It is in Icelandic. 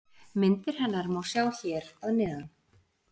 Myndir hennar má sjá hér að neðan.